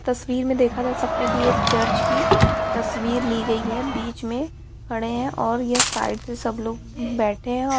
तस्वीर में देखा जा सकता है की ये चर्च की तस्वीर ली गई है बीच में खड़े है और यह साइड से सब लोग बैठे हैं | औ --